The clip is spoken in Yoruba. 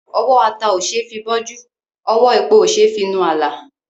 Ọwọ́ ata òṣeé fi bọ́jú; ọwọ́ epo òṣeé fi mú àlà.